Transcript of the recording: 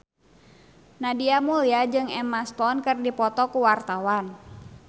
Nadia Mulya jeung Emma Stone keur dipoto ku wartawan